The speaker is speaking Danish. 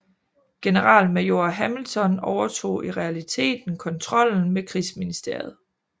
Generalmajor Hamilton overtog i realiteten kontrollen med krigsministeriet